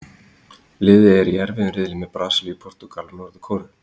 Liðið er í erfiðum riðli með Brasilíu, Portúgal og Norður-Kóreu.